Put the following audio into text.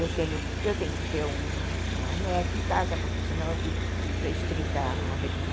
Eu tenho eu tenho que ter uma net em casa, porque senão eu fico restrita à rede.